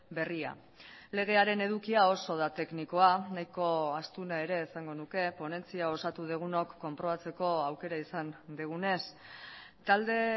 berria legearen edukia oso da teknikoa nahiko astuna ere esango nuke ponentzia osatu dugunok konprobatzeko aukera izan dugunez talde